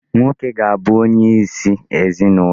Nwoke ga-abụ onye isi ezinụlọ.